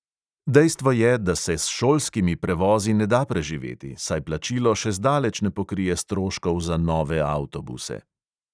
Dejstvo je, da se s šolskimi prevozi ne da preživeti, saj plačilo še zdaleč ne pokrije stroškov za nove avtobuse.